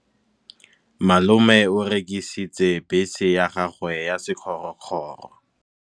Malome o rekisitse bese ya gagwe ya sekgorokgoro.